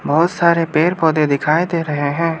बहुत सारे पेड़ पौधे दिखाई दे रहे हैं।